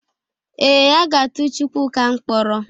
Ee, aga atụ Chukwuka mkpọrọ.